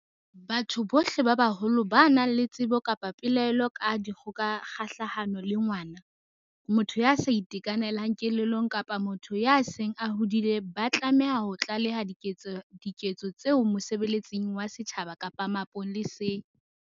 Batho bohle ba baholo ba nang le tsebo kapa pelaelo ka dikgoka kgahlano le ngwana, motho ya sa itekanelang kelellong kapa motho ya seng a hodile ba tlameha ho tlaleha diketso tseo mosebeletsing wa setjhaba kapa mapoleseng.